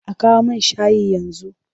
A kawo min shayi yanzu!